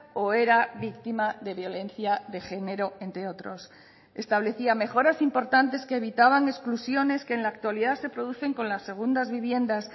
o era víctima de violencia de género entre otros establecía mejoras importantes que evitaban exclusiones que en la actualidad se producen con las segundas viviendas